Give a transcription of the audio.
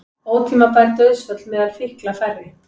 Ótímabær dauðsföll meðal fíkla færri